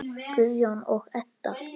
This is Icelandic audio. Guðjón og Edda.